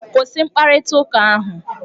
Kwụsị mkparịta ụka ahụ!